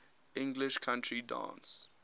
english country dance